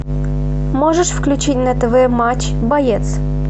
можешь включить на тв матч боец